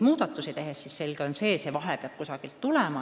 On selge, et see vahe peab kusagilt kaetud saama.